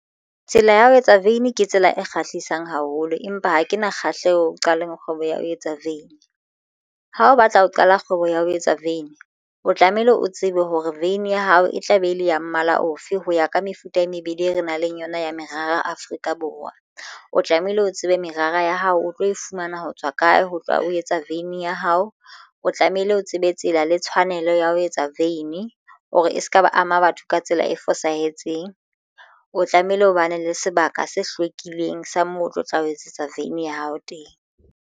Tsela ya ho etsa veini ke tsela e kgahlisang haholo, empa ha ke na kgahleho qalong kgwebo ya ho etsa vein ha o batla ho qala kgwebo ya ho etsa veini o tlamehile o tsebe hore veine ya hao e tla be e le ya mmala ofe ho ya ka mefuta e mebedi e re nang le yona ya merara Afrika Borwa. O tlamehile o tsebe merara ya hao o tlo e fumana ho tswa kae ho tla o etsa veini ya hao. O tlamehile o tsebe tsela le tshwanello ya ho etsa veini ho re e se ka ba ama batho ka tsela e fosahetseng o tlamehile o bane le sebaka se hlwekileng sa moo o tlo tla o etsetsa veine ya hao teng.